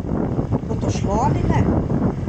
Bo to šlo ali ne?